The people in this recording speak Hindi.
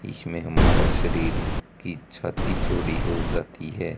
इसमें हमारा शरीर की छाती चौड़ी हो जाती है।